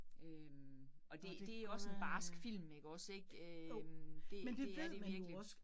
Øh og det det også en barsk film ikke også ik, øh det det er det virkelig